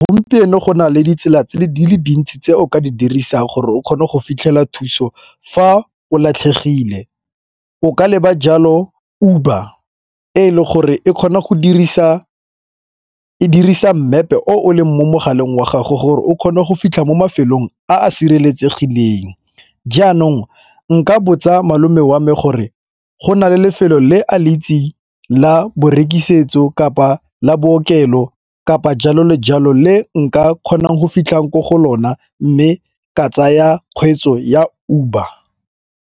Gompieno go nale ditsela tse di le dintsi tse o ka di dirisang gore o kgone go fitlhela thuso fa o latlhegile o ka leba jalo Uber e e le gore e kgona go dirisa e dirisa mmepe o leng mo mogaleng wa gago gore o kgone go fitlha mo mafelong a a sireletsegileng. Jaanong nka botsa malome wa me gore go na le lefelo le a le itseng la borekisetso kapa la bookelo kapa jalo le jalo, le nka kgonang go fitlhang ko go lona mme ka tsaya kgweetso ya Uber.